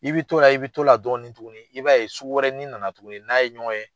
I bɛ t'o la i bɛ t'o la dɔɔnin tuguni, i b'a ye sugu wɛrɛ nin nana tuguni. N'a ye ɲɔgɔn ye?